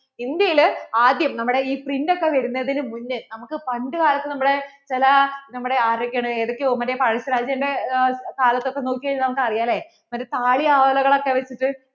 India യിൽ ആദ്യം നമ്മുടെ ഈ print ഒക്കെ വരുന്നതിനു മുന്നേ നമുക്ക് പണ്ട് കാലത്തു നമ്മളെ ചില നമ്മടെ ആരൊക്കെ ആണ് ഇടക്ക് മറ്റേ പഴശ്ശി രാജാന്‍റെ കാലത്തു നോക്കി കഴിഞ്ഞാൽ നമുക്ക് അറിയാം അല്ലേ മറ്റേ താളിഓലകളൊക്കെ വച്ചിട്ടു